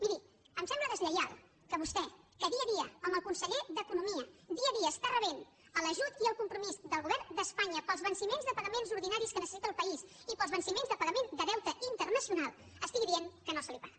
miri em sembla deslleial que vostè que dia a dia amb el conseller d’economia dia a dia està rebent l’ajut i el compromís del govern d’espanya pels venciments de pagaments ordinaris que necessita el país i pels venciments de pagament de deute internacional digui que no se’l paga